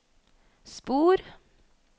spor